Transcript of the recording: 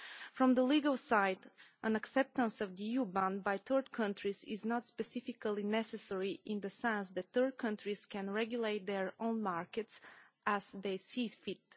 From the legal side, an acceptance of the EU ban by third countries is not specifically necessary in the sense that third countries can regulate their own markets as they see fit.